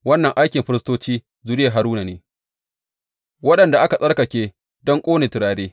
Wannan aikin firistoci zuriyar Haruna ne, waɗanda aka tsarkake don ƙone turare.